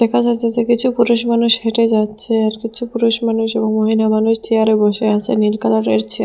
দেখা যাচ্ছে যে কিছু পুরুষ মানুষ হেঁটে যাচ্ছে আর কিছু পুরুষ মানুষ এবং মহিলা মানুষ চেয়ারে বসে আছে নীল কালারের চেয়ার।